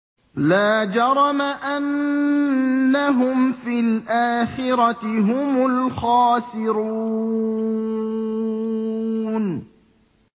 لَا جَرَمَ أَنَّهُمْ فِي الْآخِرَةِ هُمُ الْخَاسِرُونَ